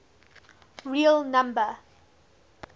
real number